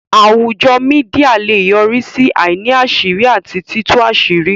Àwùjọ Mídíà lè yọrí sí àìní àṣírí àti títú àṣírí